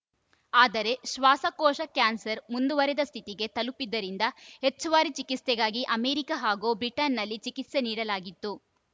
ಆದರೆ ಶ್ವಾಸಕೋಶ ಕ್ಯಾನ್ಸರ್‌ ಮುಂದುವರಿದ ಸ್ಥಿತಿಗೆ ತಲುಪಿದ್ದರಿಂದ ಹೆಚ್ಚುವರಿ ಚಿಕಿತ್ಸೆಗಾಗಿ ಅಮೆರಿಕಾ ಹಾಗೂ ಬ್ರಿಟನ್‌ನಲ್ಲಿ ಚಿಕಿತ್ಸೆ ನೀಡಲಾಗಿತ್ತು